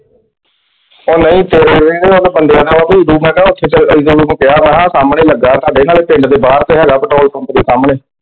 ਉਹ ਨਹੀਂ ਕਿਹਾ ਵ ਸਾਹਮਣੇ ਹੀ ਲੱਗਾ ਆ ਸਾਡੇ ਪਿੰਡ ਦੇ ਬਾਹਰ ਤੇ ਹੈਗਾ ਪੈਟਰੋਲ ਪੰਪ ਦੇ ਸਾਹਮਣੇ।